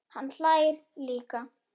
Hann hlær líka.